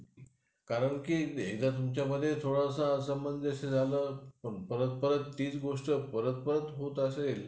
कारण की हे थोडासा पण परत परत तीच गोष्ट परत परत होत असेल